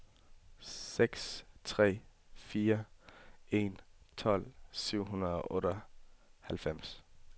seks tre fire en tolv syv hundrede og otteoghalvfems